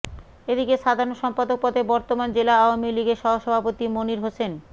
এদিকে সাধারণ সম্পাদক পদে বর্তমান জেলা আওয়ামী লীগের সহসভাপতি মনির হোসেন